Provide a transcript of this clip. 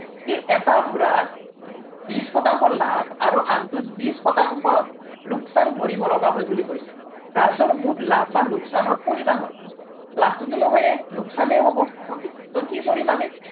এটা ঘোড়াত বিশ শতাংশ লাভ আৰু আনটোত বিশ শতাংশ লোকচান ভৰিব লগা হয় বুলি কৈছে, ৰাজৰ মুঠ বা লোকচানৰ পৰিমান হ'ল, লাভটোতো নহয়েই, লোকচানহে হ'ব okay, so কি কৰিম আমি